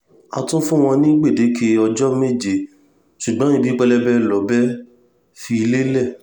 a tún fún wọn ní gbèdéke ọjọ́ méje ṣùgbọ́n ibi pẹlẹbẹ lọ̀bẹ fi lélẹ̀